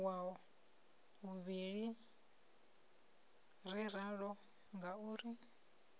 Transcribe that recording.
wa vhuvhili ri ralo ngauri